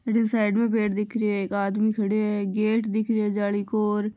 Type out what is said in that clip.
अठीने साइड में पेड़ दिख रिया है एक आदमी खड़यो है गेट दिख रियो है जाली को र।